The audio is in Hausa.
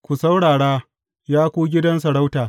Ku saurara, ya ku gidan sarauta!